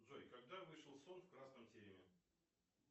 джой когда вышел сон в красном тереме